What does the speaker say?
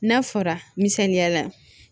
N'a fɔra ni sanliya la